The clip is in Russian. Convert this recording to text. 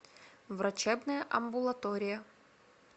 врачебная амбулатория